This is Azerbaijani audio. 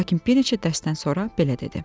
Lakin bir neçə dərsdən sonra belə dedi: